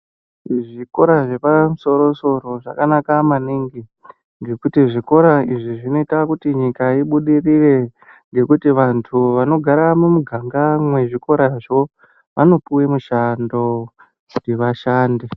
Zvikora zvapamusoro-soro, zvakanaka maningi, ngekuti zvikora izvi zvinoita kuti nyika ibudirire, ngekuti vantu vanogara mumiganga mwezvikorazvo vanopuwe mishando, kuti vashande.